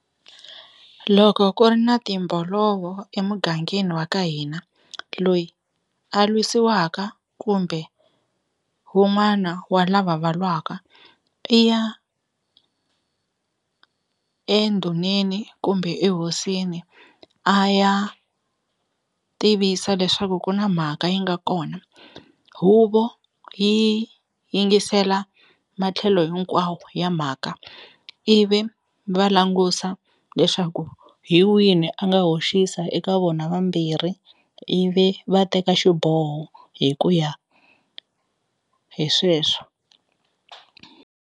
Loko ku ri na timbolovo emugangeni wa ka hina loyi a lwisiwaka kumbe wun'wana wa lava va lwaka i ya endhuneni kumbe ehosini a ya tivisa leswaku ku na mhaka yi nga kona huvo yi yingisela matlhelo hinkwawo ya mhaka ivi va langusa leswaku hi wini a nga hoxisa eka vona vambirhi ivi va teka xiboho hi ku ya hi sweswo.